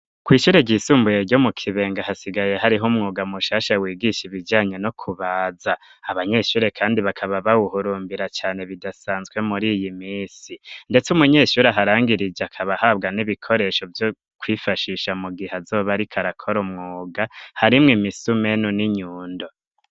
Kw'ishyure ryisumbuye, ryo mu Kibenga, hasigaye hariho, umwuga mushasha, wigisha ibijanye no kubaza; abanyeshure kandi, bakaba bawuhurumbira cane, bidasanzwe, muri iyi minsi; ndetse umunyeshure, aharangirije, akaba ahabwa n'ibikoresho, vyo kwifashisha, mu gihe azoba ariko, arakora umwuga, harimwo imisumeno, n'inyundo.